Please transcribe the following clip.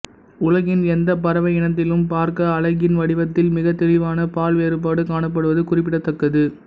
உலகின் எந்தப் பறவை இனத்திலும் பார்க்க அலகின் வடிவத்தில் மிகத் தெளிவான பால்வேறுபாடு காணப்படுவது குறிப்பிடத்தக்கது